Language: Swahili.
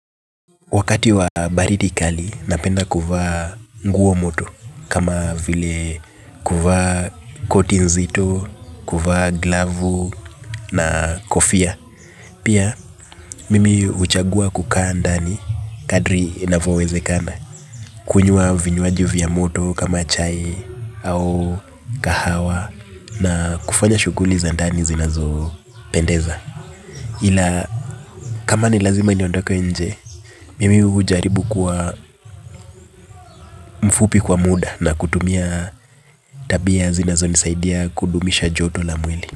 Wakati wa baridi kali, napenda kuvaa nguo moto kama vile kuvaa koti nzito, kuvaa glavu na kofia. Pia, mimi huchagua kukaa ndani kadri inavyowezekana, kunywa vinywaji vya moto kama chai au kahawa na kufanya shughuli za ndani zinazopendeza. Ila kama ni lazima niondoke nje mimi hujaribu kwa mfupi kwa muda na kutumia tabia zinazonisaidia kudumisha joto la mwili.